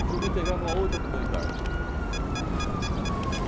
E fui me integrar em uma outra comunidade.